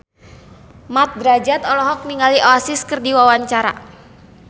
Mat Drajat olohok ningali Oasis keur diwawancara